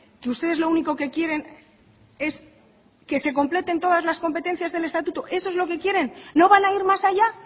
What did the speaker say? que ustedes lo único que quieren es que se completen todas las competencias del estatuto eso es lo que quieren no van a ir más allá